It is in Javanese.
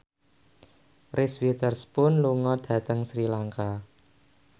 Reese Witherspoon lunga dhateng Sri Lanka